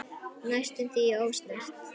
Næstum því ósnert.